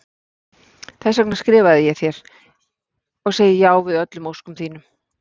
Þess vegna skrifaði ég þér- og segi já við öllum óskum þínum.